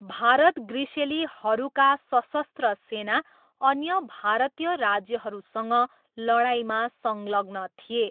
भारत ग्रिसेलीहरूका सशस्त्र सेना अन्य भारतीय राज्यहरूसँग लडाइँमा संलग्न थिए।